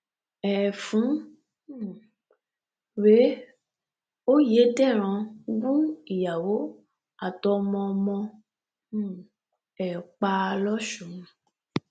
ẹ̀fún um rèé oyédèrán gún ìyàwó àtọmọọmọ um ẹ̀ pa lọ́sun